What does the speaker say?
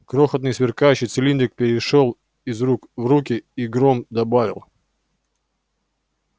крохотный сверкающий цилиндрик перешёл из рук в руки и горм добавил